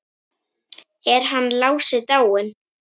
Er hann Lási dáinn?